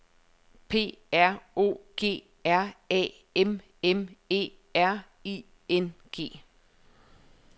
P R O G R A M M E R I N G